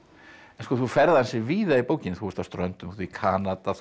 en þú ferð ansi víða í bókinni þú ert á Ströndum þú ert í Kanada þú